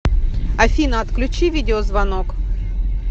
афина отключи видеозвонок